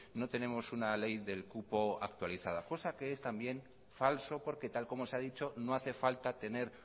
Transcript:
no tenemos una ley del cupo actualizada cosa que es también falso porque tal como se ha dicho no hace falta tener